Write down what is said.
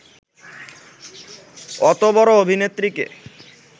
অত বড় অভিনেত্রীকে